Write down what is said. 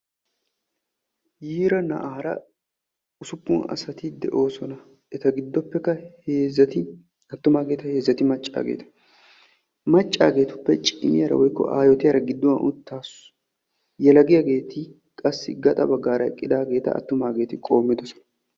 yiira na"aara usupun assati de"osona etta gidoppe heezzay attuma heezzay macca ettape cimiyara giduani uttasu yelagiyagetti qoomettidi eqidossona.